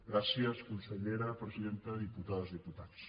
gràcies consellera presidenta diputades i diputats